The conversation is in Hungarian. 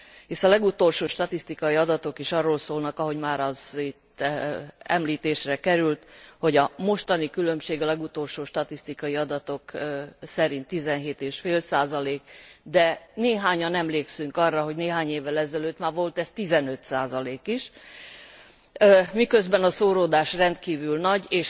Hisz a legutolsó statisztikai adatok is arról szólnak, ahogy már az itt említésre került, hogy a mostani különbség a legutolsó statisztikai adatok szerint 17,5, de néhányan emlékszünk arra, hogy néhány évvel ezelőtt már volt ez 15 is, miközben a szóródás rendkívül nagy.